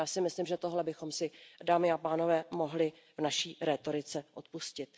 Já si myslím, že tohle bychom si, dámy a pánové, mohli v naší rétorice odpustit.